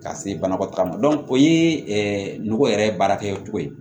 Ka se banakɔtaa ma o ye nɔgɔ yɛrɛ baarakɛcogo ye